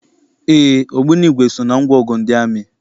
Éé, ogbunigwe so na ngwaọgụ ndị amị.